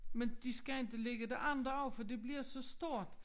Men de skal ikke ligge det andet også fordi det bliver så stort